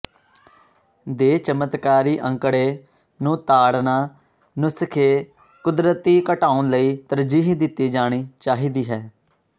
ਦੇ ਚਮਤਕਾਰੀ ਅੰਕੜੇ ਨੂੰ ਤਾੜਨਾ ਨੁਸਖੇ ਕੁਦਰਤੀ ਘਟਾਉਣ ਲਈ ਤਰਜੀਹ ਦਿੱਤੀ ਜਾਣੀ ਚਾਹੀਦੀ ਹੈ